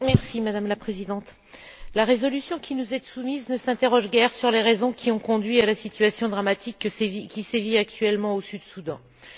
Madame la Présidente, la résolution qui nous est soumise ne s'interroge guère sur les raisons qui ont conduit à la situation dramatique qui sévit actuellement au Soudan du Sud.